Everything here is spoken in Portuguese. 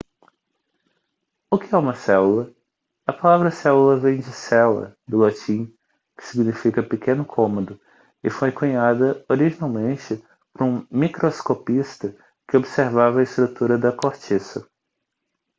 o que é uma célula a palavra célula vem de cella do latim que significa pequeno cômodo e foi cunhada originalmente por um microscopista que observava a estrutura da cortiça